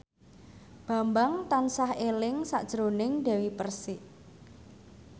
Bambang tansah eling sakjroning Dewi Persik